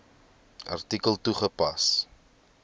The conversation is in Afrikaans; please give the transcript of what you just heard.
artikel toegepas